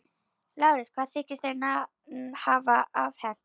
LÁRUS: Hvað þykist þér hafa afhent mér?